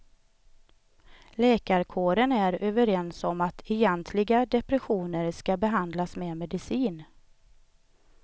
Läkarkåren är överens om att egentliga depressioner ska behandlas med medicin.